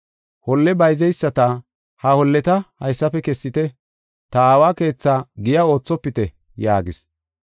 Holle bayzeyisata, “Ha holleta haysafe kessite; ta Aawa keetha giya oothopite” yaagis.